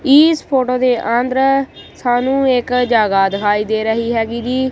ਈਸ photo ਦੇ ਆਂਦਰ ਸਾਨੂੰ ਇੱਕ ਜਗਾ ਦਿਖਾਈ ਦੇ ਰਹੀ ਹੈਗੀ ਜੀ।